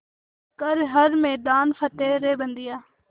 कर हर मैदान फ़तेह रे बंदेया